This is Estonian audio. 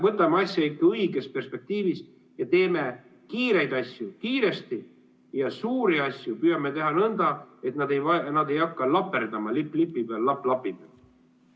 Võtame asja ikka õiges perspektiivis ja teeme kiireid asju kiiresti ja suuri asju püüame teha nõnda, et nad ei hakka laperdama lipp lipi peal, lapp lapi peal.